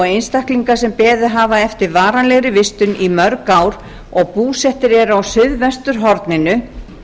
einstaklingum sem beðið hafa eftir varanlegri vistun í mörg ár og búsettir eru á suðvesturhorninu